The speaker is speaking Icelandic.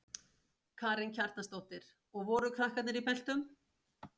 Karen Kjartansdóttir: Og voru krakkarnir í beltum?